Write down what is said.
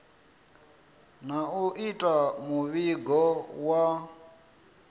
na u ita muvhigo wa